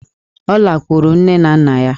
Ọ lakwuru nne na nna ya.